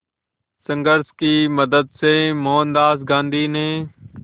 संघर्ष की मदद से मोहनदास गांधी ने